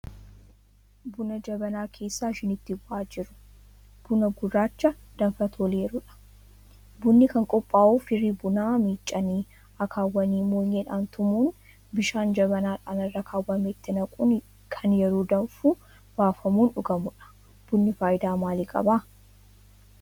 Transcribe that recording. Buna Jabanaa keessaa shiniitti bu'aa jiru. Buna gurraacha danfa toleerudha. Bunni kan qophaa'u firii bunaa miicanii akaawanii moonyeedhaan tumuun bishaan jabanaadhaan irra keewwametti naquun kan yeroo danfu irraa baafamuun dhugamudha. Bunni faayidaa maalii qaba?